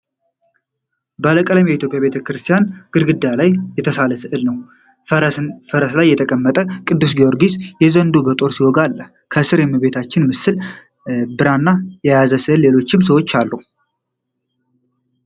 ባለቀለም የኢትዮጵያ ቤተክርስቲያን ግድግዳ ላይ የተሳለ ሥዕል ነው። ፈረስ ላይ የተቀመጠ ቅዱስ ጊዮርጊስ ዘንዶውን በጦር ሲወጋ አለ። ከሥር የእመቤታችን ምስል፣ ብራና የያዘ ሰውና ሌሎች ሰዎች አሉ።